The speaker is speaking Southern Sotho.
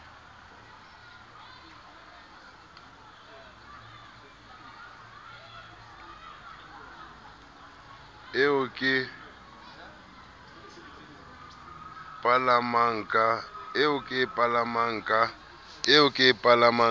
eo ke e palamang ka